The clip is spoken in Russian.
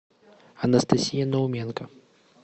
анастасия науменко